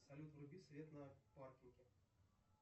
салют вруби свет на паркинге